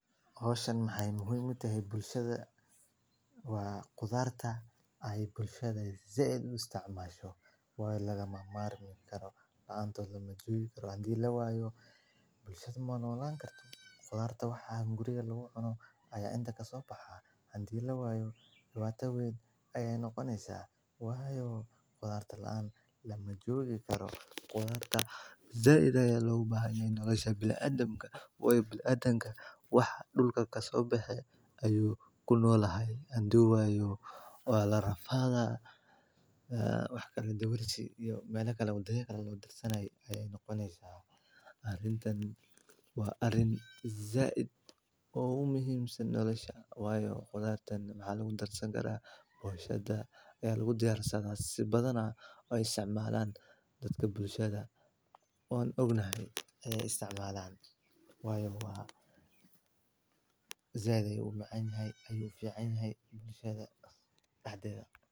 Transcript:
Hoooshan waxey muuhiim u tehe bulshada waa khudaarta ay bulshada zeid u isticmaasho. Waayo lagama maarmi karo la'aanto la ma joogi karo. Handii la waayo bulshadu maana walaan kartaa khudaarta waxaan guriga lagu qabno ayaa inta kasoo baxaa handii la waayo xibata weyn ayay noqonaysaa. Waayo khudaarta la'aan la ma joogi karo khudaarka. Zeidaya loo baahan yahiin nolosha bil'adama way bil'adama wax dhulka ka soo baxay ayuu ku noolahay handii waayo la rafaada ah, ah, wax kale deewir jee iyo meelo kale oo dayeekale loo darsanayay ayay noqonaysaa. Arintan waa arin zaad oo muuhiimsan nolosha. Waayo khudaartan macaalo u darsan karaa boshada ayay lagu diyaar sano si badanaa oo isticmaalaan dadka bulshada. Oon ognahay ayay isticmaalaan waayo waa. Zeeday u macaanyay ayuu fiicnaayay bulshada caddeeda.